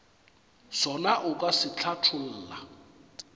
sona o ka se hlatholla